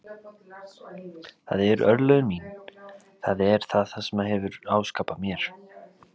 Það eru örlög mín, það er það sem hann hefur áskapað mér.